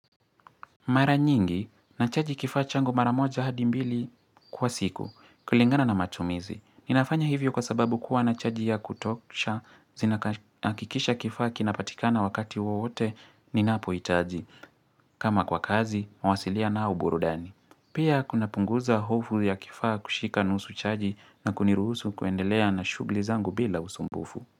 Mara nyingi, nachaji kifaa changu maramoja hadimbili kwa siku, kulingana na matumizi. Ninafanya hivyo kwa sababu kuwa nachaji ya kutokusha, zinahakikisha kifaa kinapatikana wakati wowote, ninapo itaji. Kama kwa kazi, mawasiliano au burudani. Pia kuna punguza hofu ya kifaa kushika nusu chaji na kuniruusu kuendelea na shugli zangu bila usumbufu.